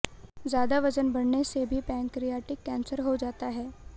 ज्यादा वजन बढ़ने से भी पैंक्रियाटिक कैंसर हो जाता है